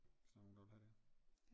Hvis der er nogen der vil have det